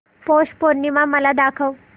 पौष पौर्णिमा मला दाखव